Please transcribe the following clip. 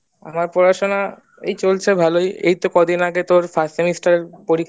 আমার পড়াশুনা এই চলছে ভালোই এই তো কয়দিন আগে first semester এর পরীক্ষাটা